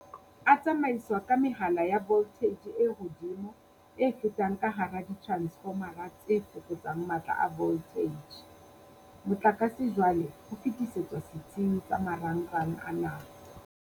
"A tsamaiswa ka mehala ya voltheije e hodimo e fetang ka hara diteransefoma tse fokotsang matla a voltheije. Motlakase jwale o fetisetswa setsing sa marangrang a naha."